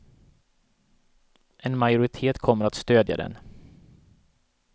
En majoritet kommer att stödja den.